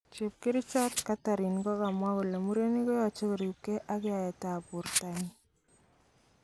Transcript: Chepkerichot Catherine kokamwa kole murenik koyoche koribke ak yaet tab bortanyin.